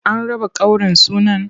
An raba ƙaurin sunan?